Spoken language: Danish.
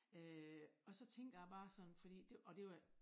Øh og så tænker jeg bare sådan fordi det og det var